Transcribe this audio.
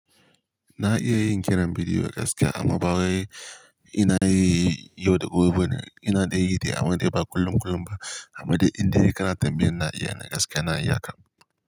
Na iya yin kiran bidiyo gaskiya amma baiwa anayi yau da gobe bane indai yide amman dai ba kullum kullum ba, amma de inde kana tambayar na iya ne gaskiya na iya kam.